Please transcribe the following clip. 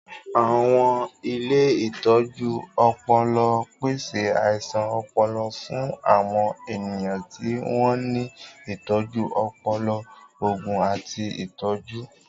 Àwọn ilé ìtọ́jú ọpọlọń pèsè àìsàn ọpọlọ fún àwọn ènìyàn tí wọ́n ní ìtọ́jú ọpọlọ, òògùn, àti ìtọ́jú.